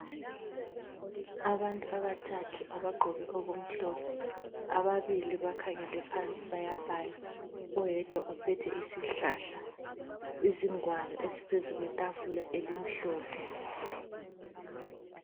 Abantu abathathu abagqoke okumhlophe ababili bakhangele phansi bayabhala oyedwa uphethe isihlahla izingwalo eziphezu kwetafula elimhlophe.